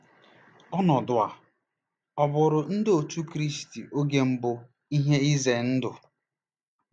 Ọnọdụ a ọ̀ bụụrụ Ndị Otú Kristi oge mbụ ihe ize ndụ?